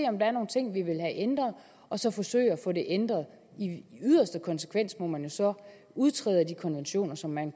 om der er nogle ting vi vil have ændret og så forsøge at få dem ændret i yderste konsekvens må man jo så udtræde af de konventioner som man